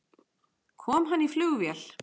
Kom hann í flugvél?